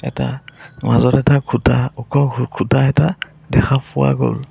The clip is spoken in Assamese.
এটা মাজত এটা খুঁটা ওখ খুঁটা এটা দেখা ফুৱা গ'ল।